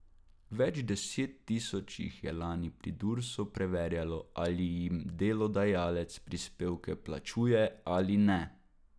Več deset tisoč jih je lani pri Dursu preverjalo, ali jim delodajalec prispevke plačuje ali ne.